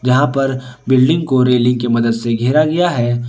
जहां पर बिल्डिंग को रेलिंग के मदद से घेरा गया है।